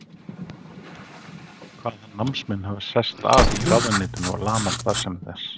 Kvað hann námsmenn hafa sest að í ráðuneytinu og lamað starfsemi þess.